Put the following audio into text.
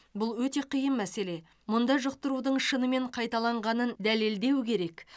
бұл өте қиын мәселе мұнда жұқтырудың шынымен қайталанғанын дәлелдеу керек